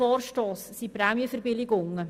Im Vorstoss erwähnt sind Prämienverbilligungen.